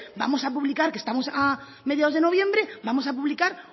vamos a publicar que estamos a mediados de noviembre vamos a publicar